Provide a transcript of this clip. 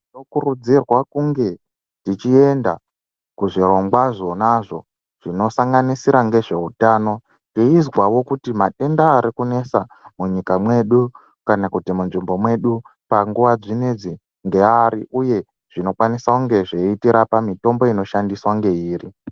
Tinokurudzirwa kunge techienda kuzvirongwa zvonazvo zvinosanganisira ngezveutano teizwawo kuti matenda arikunesa munyika medu kana kuti munzvimbo mwedu panguwa dzinedzi ngeari uye zvinokwanisa kunge zveitirapa mitombo inoshandiswa ngeiri.